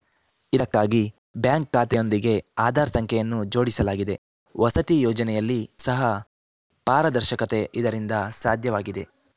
ಇದಕ್ಕಾಗಿ ಬ್ಯಾಂಕ್‌ ಖಾತೆಯೊಂದಿಗೆ ಆಧಾರ್‌ ಸಂಖ್ಯೆಯನ್ನು ಜೋಡಿಸಲಾಗಿದೆ ವಸತಿ ಯೋಜನೆಯಲ್ಲಿ ಸಹ ಪಾರದರ್ಶಕತೆ ಇದರಿಂದ ಸಾಧ್ಯವಾಗಿದೆ